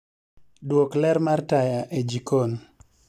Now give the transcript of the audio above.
Duok ler mar taya e jikon